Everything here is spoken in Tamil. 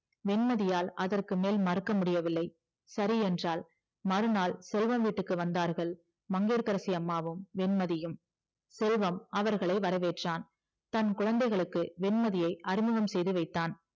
வேண்மதியால் அதற்க்கு மேல் மறுக்க முடியவில்லை சரி என்றால் மறுநாள் செல்வம் வீட்டுக்கு வந்தார்கள் மங்கையகரசி அம்மாவும் வெண்மதியும் செல்வம் அவர்களை வரவேட்றான் தன் குழந்தைகளுக்கு வெண்மதியை அறிமுகம் செய்து வைத்தான்